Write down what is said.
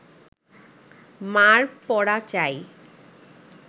মা’র পড়া চাই